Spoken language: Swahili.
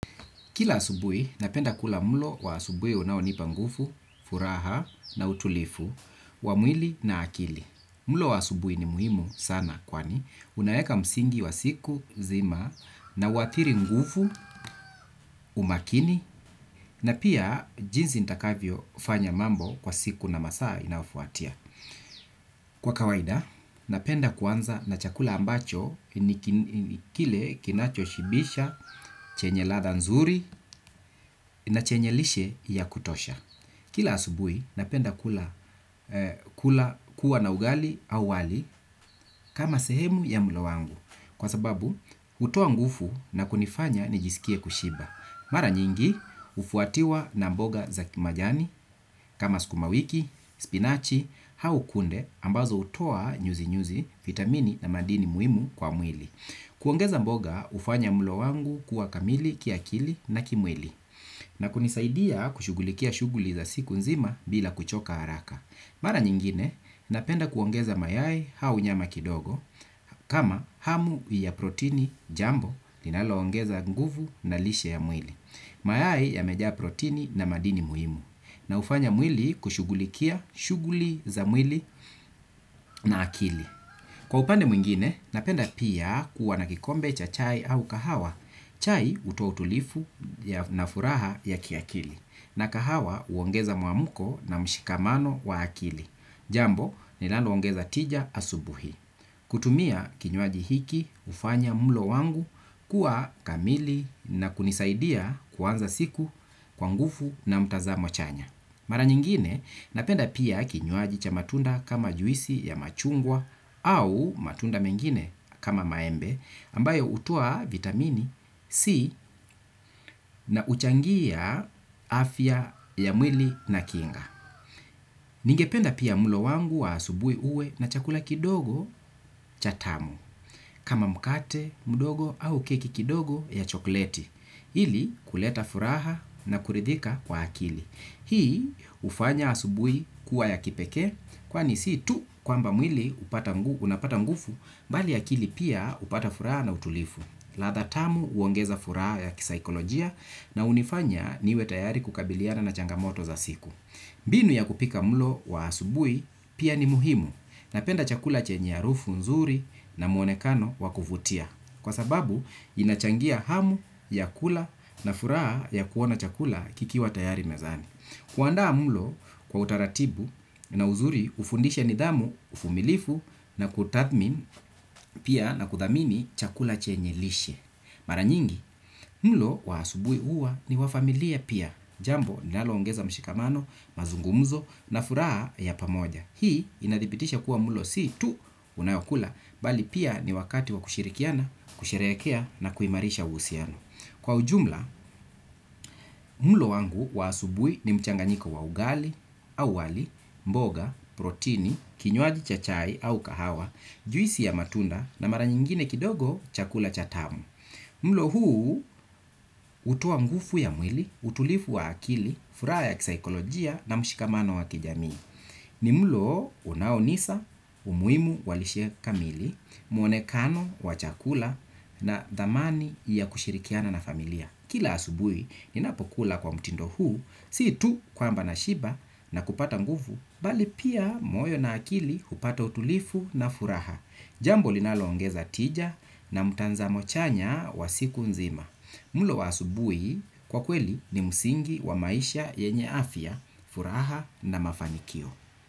Kila asubui, napenda kula mulo wa asubui unaonipa ngufu, furaha na utulifu, wamwili na akili. Mulo wa asubui ni muhimu sana kwani. Unaeka msingi wa siku, zima na watiri ngufu, umakini na pia jinzi ntakavyo ufanya mambo kwa siku na masaa inaofuatia. Kwa kawaida, napenda kwanza na chakula ambacho kile kinacho shibisha, chenye latha nzuri na chenye lishe ya kutosha. Kila asubui, napenda kula kuwa na ugali au wali kama sehemu ya mlo wangu kwa sababu utuo ngufu na kunifanya nijisikie kushiba. Mara nyingi ufuatiwa na mboga za kimajani kama skumawiki, spinachi, hau kunde ambazo utoa nyuzi nyuzi, vitamini na madini muimu kwa mwili. Kuongeza mboga ufanya mulo wangu kuwa kamili, kia kili na kimwili. Na kunisaidia kushugulikia shuguli za siku nzima bila kuchoka haraka. Mara nyingine napenda kuongeza mayai hau nyama kidogo kama hamu ya proteini jambo linaloongeza nguvu na lishe ya mwili. Mayai yamejaa proteini na madini muhimu na ufanya mwili kushugulikia shuguli za mwili na akili. Kwa upande mwingine napenda piya kuwa na kikombe cha chai au kahawa chai utoa utulifu na furaha ya kiakili na kahawa uongeza muamuko na mshikamano wa akili. Jambo linaloongeza tija asubuhi. Kutumia kinyuaji hiki ufanya mulo wangu kuwa kamili na kunisaidia kuwanza siku kwa ngufu na mtazamo chanya. Mara nyingine napenda pia kinyuaji cha matunda kama juisi ya machungwa au matunda mengine kama maembe ambayo utua vitamini C na uchangia afya ya mwili na kinga. Ningependa pia mulo wangu wa asubui uwe na chakula kidogo cha tamu. Kama mkate, mdogo au keki kidogo ya chokleti. Hili kuleta furaha na kuridhika kwa akili. Hii ufanya asubui kuwa ya kipeke kwa nisi tu kwamba mwili unapata mgufu bali akili pia upata furaha na utulifu. Latha tamu uongeza furaha ya kisaikolojia na unifanya niwe tayari kukabiliana na changamoto za siku. Binu ya kupika mlo wa asubui pia ni muhimu na penda chakula chenye arufu nzuri na muonekano wakuvutia. Kwa sababu inachangia hamu ya kula na furaha ya kuona chakula kikiwa tayari mezani. Kuanda mlo kwa utaratibu na uzuri ufundisha nidamu ufumilifu na kutathmin pia na kuthamini chakula chenye lishe. Mara nyingi, mlo waasubui huwa ni wafamilia pia, jambo nalongeza mshikamano, mazungumzo na furaha ya pamoja. Hii inadhibitisha kuwa mlo si tu unayokula, bali pia ni wakati wa kushirikiana, kusherekea na kuimarisha usiano. Kwa ujumla, mlo wangu wa asubui ni mchanganyiko wa ugali, au wali, mboga, protini, kinyuaji cha chai au kahawa, juisi ya matunda na mara nyingine kidogo chakula cha tamu. Mlo huu utowa ngufu ya mwili, utulifu wa akili, fura ya kisaikolojia na mshikamano wa kijami. Ni mlo unaonisa, umuimu walishe kamili, muonekano, wachakula na damani ya kushirikiana na familia. Kila asubui ninapokula kwa mtindo huu, siitu kwamba nashiba na kupata nguvu, bali pia moyo na akili kupata utulifu na furaha. Jambo linaloongeza tija na mutanzamo chanya wa siku nzima. Mulo wa asubuhi kwa kweli ni musingi wa maisha yenye afya, furaha na mafanikio.